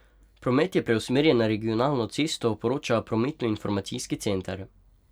Promet je preusmerjen na regionalno cesto, poroča prometnoinformacijski center.